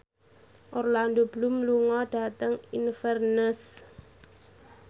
Orlando Bloom lunga dhateng Inverness